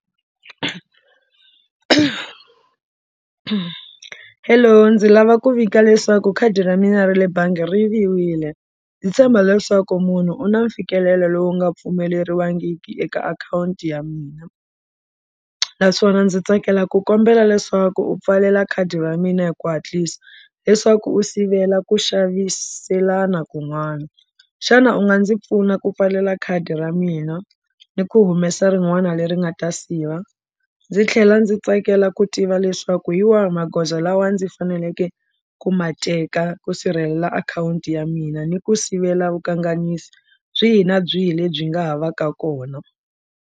Hello ndzi lava ku vika leswaku khadi ra mina ra le bangi ri yiviwile ndzi tshemba leswaku munhu u na mfikelelo lowu nga pfumeleriwangiki eka akhawunti ya mina naswona ndzi tsakela ku kombela leswaku u pfalela khadi ra mina hi ku hatlisa leswaku u sivela ku xaviselana kun'wana xana u nga ndzi pfuna ku pfalela khadi ra mina ni ku humesa rin'wana leri nga ta siva ndzi tlhela ndzi tsakela ku tiva leswaku hi wahi magoza lawa ndzi faneleke ku ma teka ku sirhelela akhawunti ya mina ni ku sivela vukanganyisi byi hi na byihi lebyi nga ha va ka kona.